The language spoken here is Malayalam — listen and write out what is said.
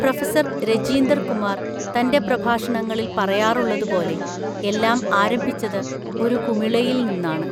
പ്രൊഫസർ രജീന്ദർ കുമാർ തൻ്റെ പ്രഭാഷണങ്ങളിൽ പറയാറുള്ളതുപോലെ എല്ലാം ആരംഭിച്ചത് ഒരു കുമിളയിൽ നിന്നാണ്.